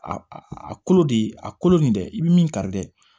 A a a kolo de a kolo nin dɛ i bɛ min kari dɛ